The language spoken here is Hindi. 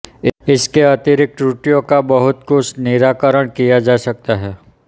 इसके अतिरिक्त त्रुटियों का बहुत कुछ निराकरण किया जा सकता है